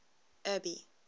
abby